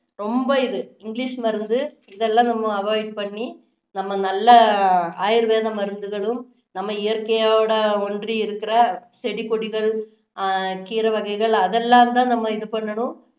ரொம்ப இது english மருந்து இதெல்லாம் நம்ம avoid பண்ணி நாம நல்ல ஆயுர்வேத மருந்துகளும் நம்ம இயற்கையோட ஒன்றி இருக்குற செடி கொடிகள் அஹ் கீரை வகைகள் அதெல்லாம் தான் நம்ம இது பண்ணணும்